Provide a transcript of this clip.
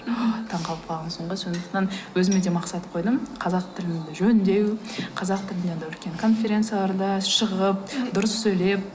таңғалып қалғансың ғой сондықтан өзіме де мақсат қойдым қазақ тілімді жөндеу қазақ тілінде анадай үлкен конференцияларда шығып дұрыс сөйлеп